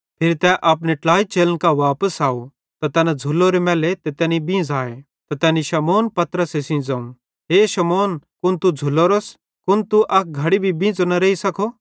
फिरी तै अपने ट्लाई चेलन कां वापस आव त तैना झ़ुल्लोरे मैल्ले ते तैनी तैना बींझ़ाए त तैनी शमौनपतरसे सेइं ज़ोवं हे शमौन कुन तू झ़ुल्लोरोस कुन तू अक घड़ी भी बींझ़ो न रेइ सकस